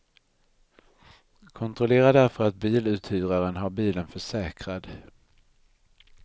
Kontrollera därför att biluthyraren har bilen försäkrad.